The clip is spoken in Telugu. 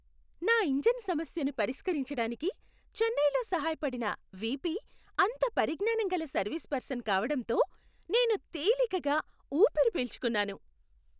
నా ఇంజిన్ సమస్యను పరిష్కరించటానికి చెన్నైలో సహాయపడిన వీపీ అంత పరిజ్ఞానం గల సర్వీస్ పర్సన్ కావడంతో నేను తేలికగా ఊపిరి పీల్చుకున్నాను.